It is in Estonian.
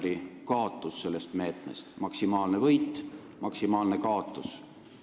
Nii et kui suur on teie teada pensionäri maksimaalne võit ja maksimaalne kaotus?